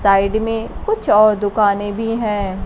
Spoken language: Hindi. साइड में कुछ और दुकानें भी है।